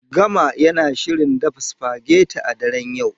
Gama yana shirin dafa supageti a daren yau.